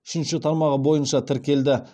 үшінші тармағы бойынша тіркелді